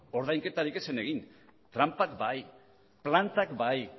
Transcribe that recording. ordainketari ez zen egin tranpak bai plantak bai